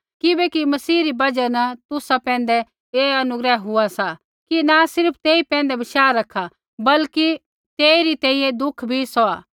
किबैकि मसीह री बजहा न तुसा पैंधै ऐ अनुग्रह हुआ सा कि न सिर्फ़ तेई पैंधै बशाह रखा बल्कि पर तेइरी तैंईंयैं दुःख भी सौहा